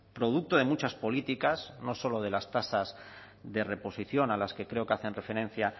producto de muchas políticas no solo de las tasas de reposición a las que creo que hacen referencia